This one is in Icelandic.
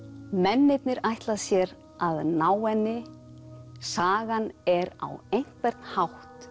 mennirnir ætla sér að ná henni sagan er á einhvern hátt